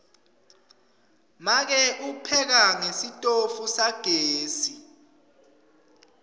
make upheka ngesitofu sagesi